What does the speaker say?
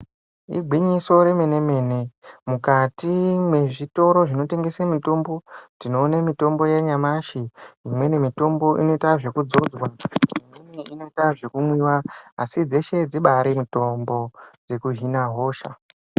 Igwinyiso remene mene mukati mwezvitoro zvinotengese mitombo tinoone mitombo yanyamashi neimwe mitombo inoita zvekudzodzwa imweni inoite zvekumwiwa asi dzeshe dzibari mitombo dzekuhina hosha.